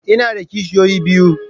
Ina da kishiyoyi biyu.